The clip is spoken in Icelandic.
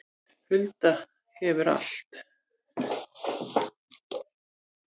Hulda hefur allt